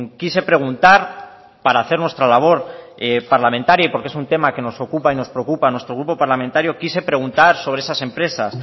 quise preguntar para hacer nuestra labor parlamentaria y porque es un tema que nos ocupa y nos preocupa a nuestro grupo parlamentario quise preguntar sobre esas empresas